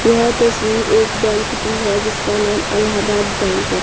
यह तस्वीर एक बैंक की है जिसका नाम इलाहाबाद बैंक है।